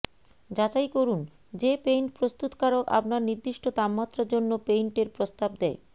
যাচাই করুন যে পেইন্ট প্রস্তুতকারক আপনার নির্দিষ্ট তাপমাত্রার জন্য পেইন্টের প্রস্তাব দেয়